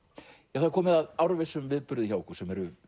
já það er komið að árvissum viðburði hjá okkur sem eru